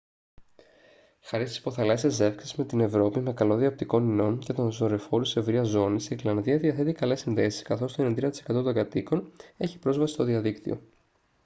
χάρη στις υποθαλάσσιες ζεύξεις με την ευρώπη με καλώδια οπτικών ινών και τους δορυφόρους ευρείας ζώνης η γροιλανδία διαθέτει καλές συνδέσεις καθώς το 93% των κατοίκων έχει πρόσβαση στο διαδίκτυο